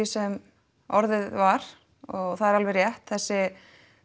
sem orðið var og það er alveg rétt þessi